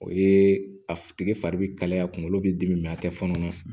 O ye a tigi fari be kalaya kunkolo be dimi a te fɔɔnɔ